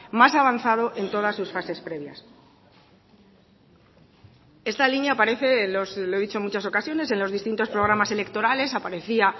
más avanzado en todas sus fases previas esta línea aparece lo he dicho en muchas ocasiones en los distintos programas electorales aparecía